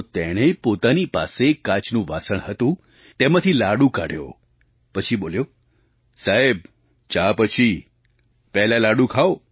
તો તેણે પોતાની પાસે એક કાચનું વાસણ હતું તેમાંથી લાડુ કાઢ્યો પછી બોલ્યો સાહેબ ચા પછી પહેલાં લાડુ ખાવ